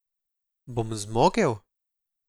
Bom zmogel?